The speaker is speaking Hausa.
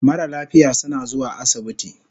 Mara lafiya suna zuwa asibiti